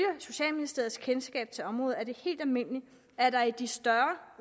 socialministeriets kendskab til området er det helt almindeligt at der i de større